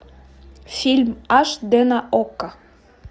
фильм аш дэ на окко